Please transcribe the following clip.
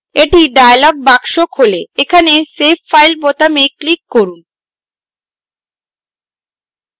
একটি dialog box খোলে এখানে save file বোতামে click করুন